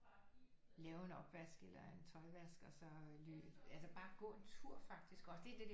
Lave en opvask eller en tøjvask og så altså bare gå en tur faktisk også det